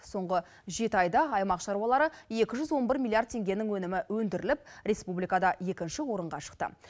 соңғы жеті айда аймақ шаруалары екі жүз он бір миллиард теңгенің өнімі өндіріліп республикада екінші орынға шықты